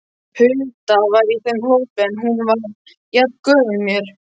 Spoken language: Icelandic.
Hulda var í þeim hópi en hún var jafngömul mér.